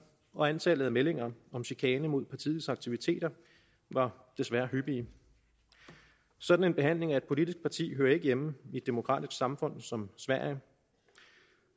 og antallet af meldinger om chikane mod partiets aktiviteter var desværre hyppige sådan en behandling af et politisk parti hører ikke hjemme i et demokratisk samfund som sverige